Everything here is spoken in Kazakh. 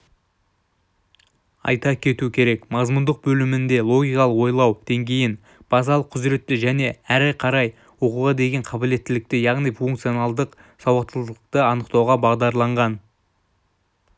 айта кету керек мазмұндық бөлімінде логикалық ойлау деңгейін базалық құзыретті және әрі қарай оқуға деген қабілеттілікті яғни функционалдық сауаттылықты анықтауға бағдарланған